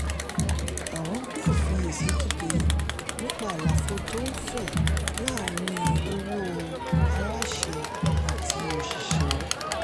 àwọn gbé ìfiyèsí dìde nípa àlàfo tó ń fẹ̀ láàrin owó aláṣẹ àti òṣìṣẹ́.